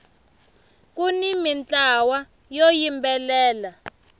kuni mintlawa yo yimbelela